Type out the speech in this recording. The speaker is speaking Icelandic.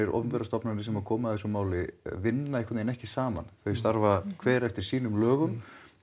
opinberar stofnanir sem koma að þessu máli vinna ekki saman þau starfa hver eftir sínum lögum